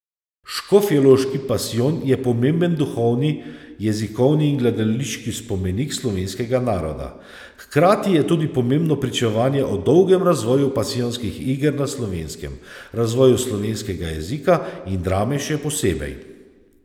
Škofjeloški pasijon je pomemben duhovni, jezikovni in gledališki spomenik slovenskega naroda, hkrati je tudi pomembno pričevanje o dolgem razvoju pasijonskih iger na Slovenskem, razvoju slovenskega jezika in drame še posebej.